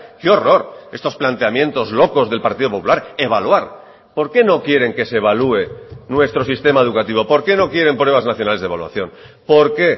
qué horror estos planteamientos locos del partido popular evaluar por qué no quieren que se evalúe nuestro sistema educativo por qué no quieren pruebas nacionales de evaluación por qué